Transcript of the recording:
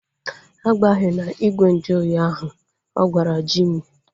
A gbahena igwe nju ahụ oyi ahu! Ọ gwara Jimi